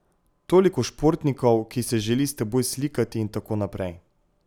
Toliko športnikov, ki se želi s teboj slikati in tako naprej.